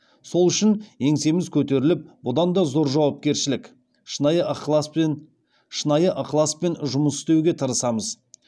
сол үшін еңсеміз көтеріліп бұдан да зор жауапкершілік шынайы ықыласпен жұмыс істеуге тырысамыз